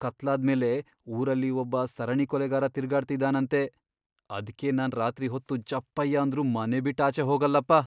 ಕತ್ಲಾದ್ಮೇಲೆ ಊರಲ್ಲಿ ಒಬ್ಬ ಸರಣಿ ಕೊಲೆಗಾರ ತಿರ್ಗಾಡ್ತಿದಾನಂತೆ, ಅದ್ಕೇ ನಾನ್ ರಾತ್ರಿ ಹೊತ್ತು ಜಪ್ಪಯ್ಯ ಅಂದ್ರೂ ಮನೆಬಿಟ್ಟ್ ಆಚೆ ಹೋಗಲ್ಲಪ್ಪ.